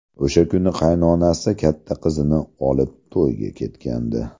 O‘sha kuni qaynonasi katta qizini olib to‘yga ketgandi.